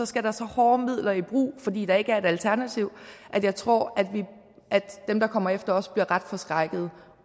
skal der så hårde midler i brug fordi der ikke er et alternativ at jeg tror at dem der kommer efter os bliver ret forskrækkede